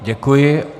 Děkuji.